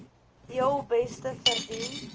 heel beste verdien